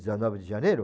dezenove de janeiro?